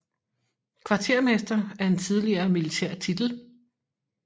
Kvartermester er en tidligere militær titel